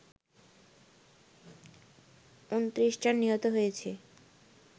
২৯ জন নিহত হয়েছে